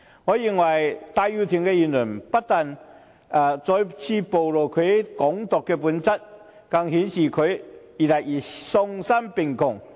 我認為戴耀廷的言論不僅再次暴露其"港獨"的本質，更顯示他越來越喪心病狂。